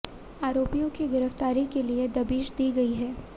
आरोपियों की गिरफ्तारी के लिए दबिश दी गई है